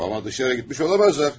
Amma dışarı getmiş olamazlar.